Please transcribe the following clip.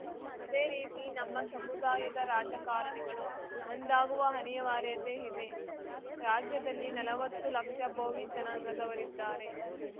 ಅದೇ ರೀತಿ ನಮ್ಮ ಸಮುದಾಯದ ರಾಜಕಾರಣಿಗಳು ಒಂದಾಗುವ ಅನಿವಾರ್ಯತೆಯಿದೆ ರಾಜ್ಯದಲ್ಲಿ ನಲವತ್ತು ಲಕ್ಷ ಭೋವಿ ಜನಾಂಗದವರಿದ್ದಾರೆ